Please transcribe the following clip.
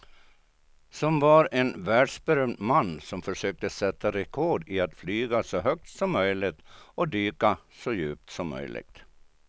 Som var en världsberömd man som försökte sätta rekord i att flyga så högt som möjligt och dyka så djupt som möjligt.